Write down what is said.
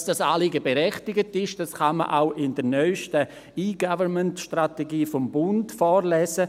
Dass dieses Anliegen berechtigt ist, kann man auch in der neuesten E-Government-Strategie des Bundes lesen.